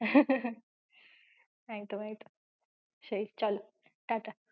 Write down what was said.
একদম একদম, সেই চলো tata.